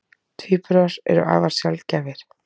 Tvíburar eru afar sjaldgæfir.